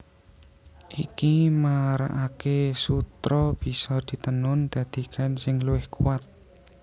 Iki marakaké sutra bisa ditenun dadi kain sing luwih kuwat